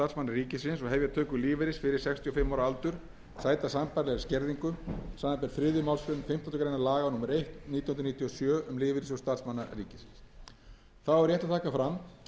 ríkisins og hefja töku lífeyris fyrir sextíu og fimm ára aldur sæta sambærilegri skerðingu samanber þriðju málsgrein fimmtándu grein laga númer eitt nítján hundruð níutíu og sjö um lífeyrissjóð starfsmanna ríkisins þá er rétt að taka fram að hjá